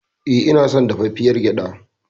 E, ina son dafaffiyar gyaɗa.